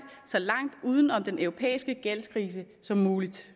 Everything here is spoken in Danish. så langt uden om den europæiske gældskrise som muligt